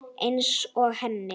Einsog henni.